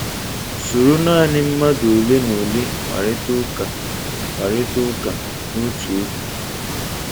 Soro naanị mmadụ ole na ole kparịta ụka kparịta ụka n'otu oge.